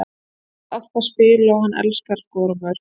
Hann vill alltaf spila og hann elskar að skora mörk.